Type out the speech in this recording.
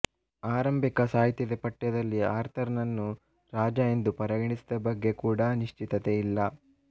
ಆರಂಭಿಕ ಸಾಹಿತ್ಯದ ಪಠ್ಯಗಳಲ್ಲಿ ಆರ್ಥರ್ ನನ್ನು ರಾಜ ಎಂದು ಪರಿಗಣಿಸಿದ ಬಗ್ಗೆ ಕೂಡಾ ನಿಶ್ಚಿತತೆ ಇಲ್ಲ